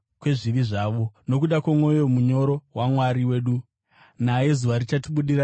nokuda kwomwoyo munyoro waMwari wedu, naye zuva richatibudira richibva kudenga,